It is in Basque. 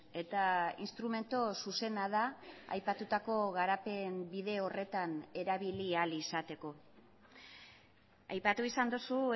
eta instrumentu zuzena da aipatutako garapen bide horretan erabili ahal izateko aipatu izan duzu